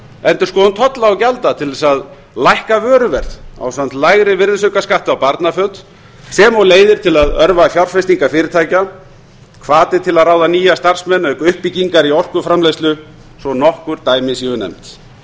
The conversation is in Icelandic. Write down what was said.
endurskoðun tolla og gjalda til að lækka vöruverði ásamt lægri virðisaukaskatti á barnaföt sem og leiðir til að örva fjárfestingar fyrirtækja hvati til að ráða nýja starfsmenn auk uppbyggingar í orkuframleiðslu svo nokkur dæmi hún nefnd